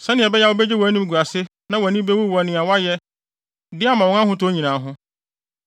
sɛnea ɛbɛyɛ a wubegye wʼanimguase na wʼani bewu wɔ nea woayɛ de ama wɔn ahotɔ nyinaa ho.